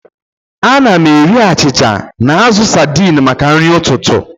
Ana m eri achịcha na azụ saidini maka nri ụtụtụ.